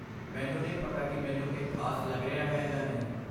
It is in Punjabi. ਮੈਨੂੰ ਨਹੀਂ ਪਤਾ ਕਿ ਮੈਨੂੰ ਇਹ ਖ਼ਾਸ ਲੱਗ ਰਿਹਾ ਹੈ ਜਾਂ ਨਹੀਂ।